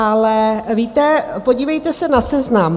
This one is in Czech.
Ale víte, podívejte se na seznam.